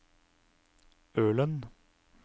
Ølen